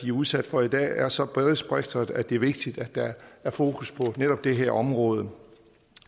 er udsat for i dag er så bredspektret at det er vigtigt at der er fokus på netop det her område